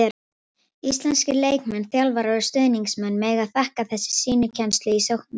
Íslenskir leikmenn, þjálfarar og stuðningsmenn mega þakka þessa sýnikennslu í sóknarleik.